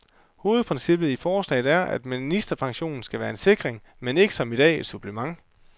Hovedprincippet i forslaget er, at ministerpension skal være en sikring, men ikke, som i dag, et supplement.